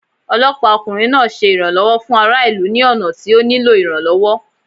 Ọlọpa okunrin naa ṣe iranlọwọ fun ara ilu ni ọna ti o nilo iranlọwọ.